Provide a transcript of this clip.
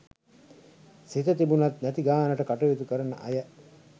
සිත තිබුණත් නැති ගානට කටයුතු කරන අය